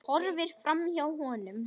Hún horfir framhjá honum.